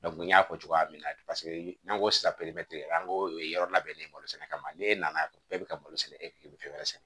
n y'a fɔ cogoya min na paseke n'an ko sisan an ko o ye yɔrɔ labɛnnen ye balo sɛnɛ kama ne nana bɛɛ bɛ ka balo sɛnɛ e bɛ fɛn wɛrɛ sɛnɛ